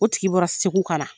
O tigi bɔra segu ka na